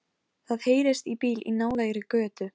Ég heyri hana sýsla niðri, hún eldar spagettí handa Siggu.